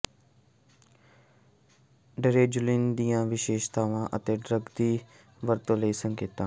ਡਰੈਜ਼ੋਲਿਨ ਦੀਆਂ ਵਿਸ਼ੇਸ਼ਤਾਵਾਂ ਅਤੇ ਡਰੱਗ ਦੀ ਵਰਤੋਂ ਲਈ ਸੰਕੇਤਾਂ